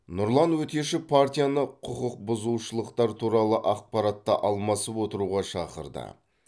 нұрлан өтешев партияны құқықбұзушылықтар туралы ақпаратты алмасып отыруға шақырды